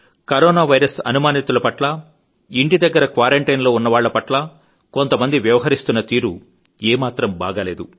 corona virus అనుమానితులపట్ల ఇంటి దగ్గర క్వారంటైన్ లో ఉన్న వాళ్ల పట్లా కొంతమంది వ్యవహరిస్తున్నతీరు ఏమాత్రం బాగాలేదు